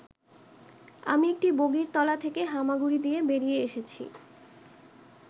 আমি একটি বগির তলা থেকে হামাগুড়ি দিয়ে বেরিয়ে এসেছি'।